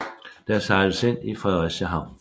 Der sejles ind i Fredericia havn